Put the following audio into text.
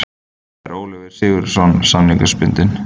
Þar er Oliver Sigurjónsson samningsbundinn.